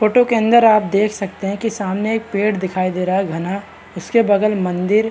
Photo के अंदर आप देख सकते हैं कि सामने एक पेड़ दिखाई दे रहा है घना। उसके बगल में मंदिर --